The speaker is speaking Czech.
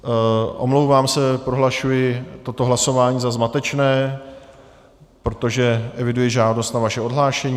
Omlouvám se, prohlašuji toto hlasování za zmatečné, protože eviduji žádost o vaše odhlášení.